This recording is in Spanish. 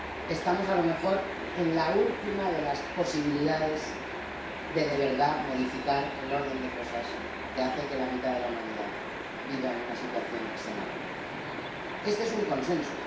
Es, a lo mejor, la última de las posibilidades de modificar de verdad el orden de las cosas, que hace que la mitad de la humanidad viva en una situación de extrema pobreza. Este es un consenso.